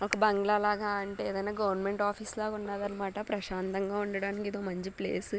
ఒక బంగ్లా లాగ అంటే ఏదన్న గవర్నమెంట్ ఆఫీస్ లాగా ఉన్నదన్న మాట ప్రశాంతంగా ఉండడానికి ఇదొక మంచి ప్లేసు .